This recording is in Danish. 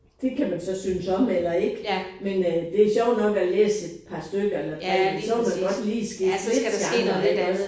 Det kan man så synes om eller ikke men øh det sjovt nok at læse et par stykker eller tre men så vil man godt lige skifte lidt genre iggås